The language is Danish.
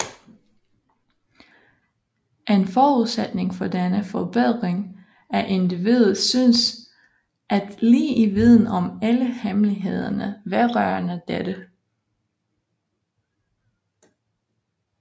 En forudsætning for denne forbedring af individet synes at ligge i viden om alle hemmelighederne vedrørende dette